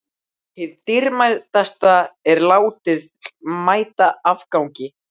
Hið dýrmætasta er látið mæta afgangi.